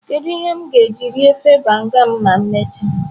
Kedu ihe m ga-eji rie ofe banga m ma emechaa?